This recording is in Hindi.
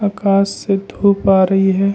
आकाश से धूप आ रही है।